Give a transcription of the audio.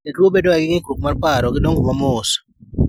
Jotuo bedo ga gi ng'ikruok mar paro gi dongo ma mos